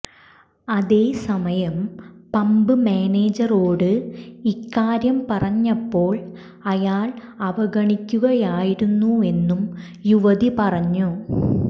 അതേസമയം പബ് മാനേജറോട് ഇക്കാര്യം പറഞ്ഞപ്പോൾ അയാൾ അവഗണിക്കുകയായിരുന്നുവെന്നും യുവതി പറഞ്ഞു